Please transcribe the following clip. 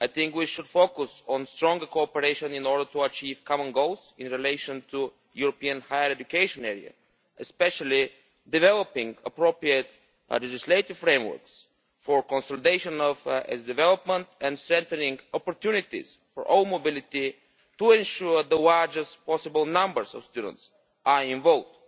We should focus on stronger cooperation in order to achieve common goals in relation to the European higher education area, especially developing appropriate legislative frameworks for consultation on its development and creating opportunities for all mobility to ensure the largest possible numbers of students are involved.